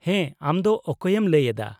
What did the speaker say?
ᱦᱮᱸ ᱾ ᱟᱢ ᱫᱚ ᱚᱠᱚᱭᱮᱢ ᱞᱟᱹᱭ ᱮᱫᱟ ?